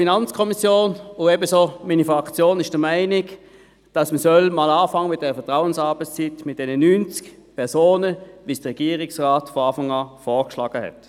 Die FiKo-Minderheit und ebenfalls meine Fraktion sind der Meinung, dass man mit der Vertrauensarbeitszeit bei diesen 90 Personen beginnen soll, so wie es der Regierungsrat von Beginn weg vorgeschlagen hatte.